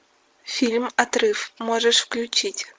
фильм отрыв можешь включить